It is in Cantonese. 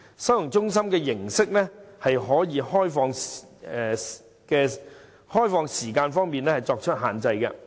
收容中心的形式，可以在開放時間方面作出限制。